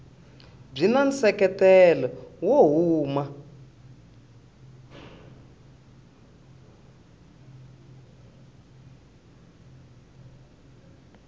byi na nseketelo wo huma